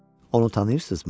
Onu tanıyırsızmı?